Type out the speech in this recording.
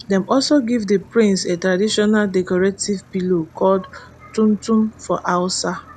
dem also give di prince a traditional decorative pillow called tuntun for hausa